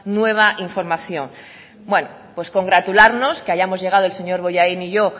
nueva información bueno pues congratularnos que hayamos llegado el señor bollain y yo